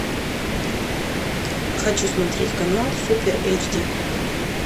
хочу смотреть канал супер эйч ди